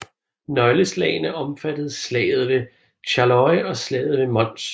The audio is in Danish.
Nøgleslagene omfattede Slaget ved Charleroi og Slaget ved Mons